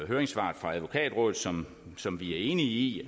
høringssvaret fra advokatrådet som som vi er enige i